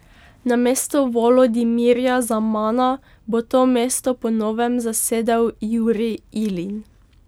Namesto Volodimirja Zamana bo to mesto po novem zasedel Juri Ilin.